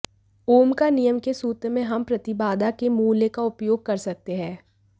ओम का नियम के सूत्र में हम प्रतिबाधा के मूल्य का उपयोग कर सकते हैं